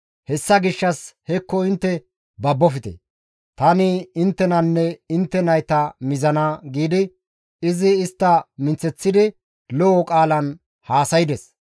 Hessa gishshas hekko intte babofte; tani inttenanne intte nayta mizana» giidi, izi istta minththeththidi lo7o qaalan haasayides.